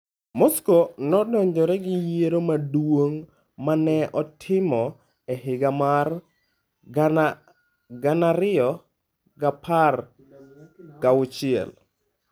Moscow nodonjore gi yiero maduong ' ma ne otim e higa mar 2016.